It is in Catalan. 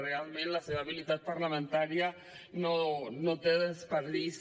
realment la seva habilitat parlamentària no té desperdici